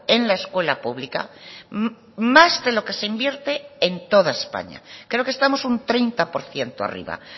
en la escuela pública más de lo que se invierte en toda españa creo que estamos un treinta por ciento arriba